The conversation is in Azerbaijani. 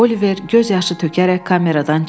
Oliver göz yaşı tökərək kameradan çıxdı.